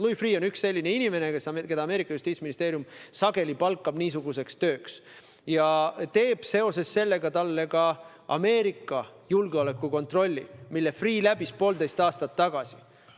Louis Freeh on üks selline inimene, keda justiitsministeerium on niisuguseks tööks sageli palganud ja seoses sellega on teinud talle ka Ameerika julgeolekukontrolli, mille Freeh läbis poolteist aastat tagasi.